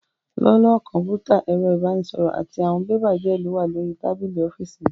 Lọ́wọ́lọ́wọ́, Kọ̀m̀pútà, ẹ̀rọ ìbánisọ̀rọ̀, àti àwọn bébà díè ló wà lórí tábìlì ọ́fíìsì mi